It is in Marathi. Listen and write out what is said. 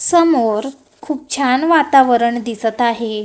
समोर खूप छान वातावरण दिसत आहे.